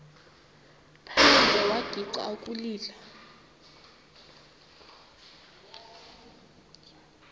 phandle wagixa ukulila